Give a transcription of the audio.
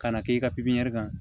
Kana k'i ka pipiniyɛri kan